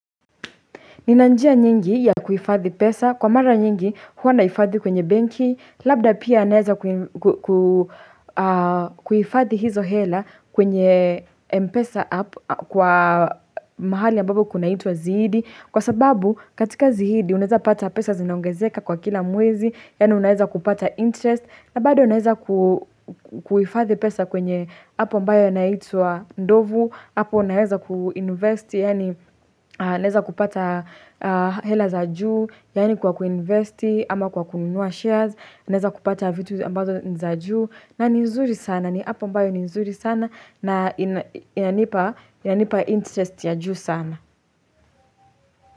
Ninanjia nyingi ya kuhifadhi pesa, kwa mara nyingi huwa na hifadhi kwenye benki, labda pia naeza kuifadhi hizo hela kwenye mpesa app kwa mahali ambapo kuna itwa ziidi. Kwa sababu katika zihidi unaeza pata pesa zinaongezeka kwa kila mwezi, yaani unaeza kupata interest, na bado naeza kuhifathi pesa kwenye app ambayo inaitwa ndovu hapo unaeza kuinvest yaani naeza kupata hela za juu yaani kwa kuinvesti ama kwa kununua shares naeza kupata vitu ambazo niza juu na ni nzuri sana ni app mbayo ninzuri sana na inanipa inanipa interest ya juu sana.